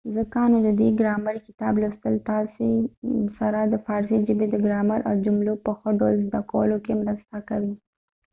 ځکه نو ددې ګرامر کتاب لوستل تاسې سره د فارسي ژبې د ګرامر او د جملو په ښه ډول زده کولو کې مرسته کوي